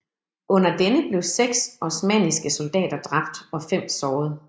Under denne blev seks osmanniske soldater dræbt og fem såret